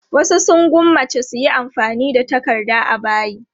Wasu sun gwammaci su yi amfani da takarda a bayi.